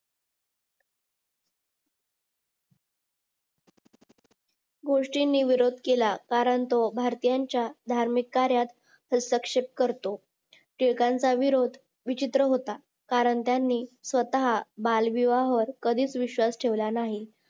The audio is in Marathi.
गोष्टींनी विरोध केला कारण तो भारतीयांच्या धार्मिक कार्यात हस्तक्षेप करतो टिळकांचा विरोध विचित्र होता कारण त्यांनी स्वतः बालविवाहवर कधीच विश्वास ठेवला नाही